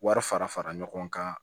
Wari fara fara ɲɔgɔn kan